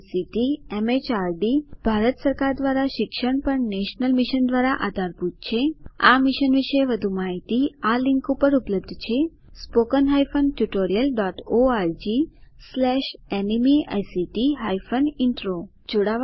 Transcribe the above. જે ICT MHRD Bharat સરકાર દ્વારા શિક્ષણ પર નેશનલ મિશન દ્વારા આધારભૂત છે આ મિશન વિશે વધુ માહીતી આ લીંક ઉપર ઉપલબ્ધ છે httpspoken tutorialorgNMEICT Intro IIT Bombay તરફથી ભાષાંતર કરનાર હું કૃપાલી પરમાર વિદાય લઉં છું